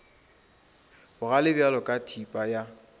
bogale bjalo ka thipa ya